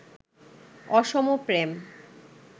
অসম প্রেম